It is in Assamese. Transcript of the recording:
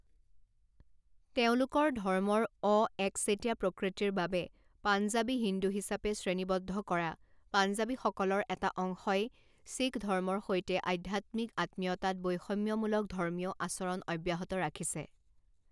তেওঁলোকৰ ধৰ্মৰ অ একচেটিয়া প্ৰকৃতিৰ বাবে পাঞ্জাৱী হিন্দু হিচাপে শ্ৰেণীবদ্ধ কৰা পাঞ্জাৱীসকলৰ এটা অংশই শিখ ধৰ্মৰ সৈতে আধ্যাত্মিক আত্মীয়তাত বৈষম্যমূলক ধৰ্মীয় আচৰণ অব্যাহত ৰাখিছে।